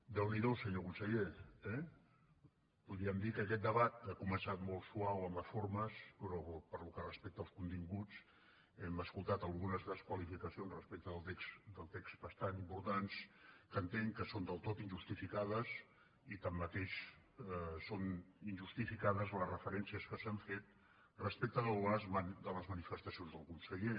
déu n’hi do senyor conseller eh podríem dir que aquest debat ha començat molt suau amb les formes però pel que respecta als continguts hem escoltat algunes desqualificacions respecte del text bastant importants que entenc que són del tot injustificades i així mateix són injustificades les referències que s’han fet respecte de les manifestacions del conseller